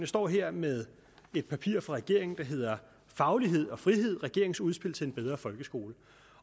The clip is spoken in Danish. står her med et papir fra regeringen der hedder faglighed og frihed regeringens udspil til en bedre folkeskole